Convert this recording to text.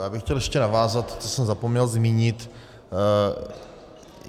Já bych chtěl ještě navázat, co jsem zapomněl zmínit.